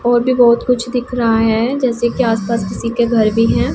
और भी बहुत कुछ दिख रहा है जैसे कि आसपास किसी के घर भी हैं।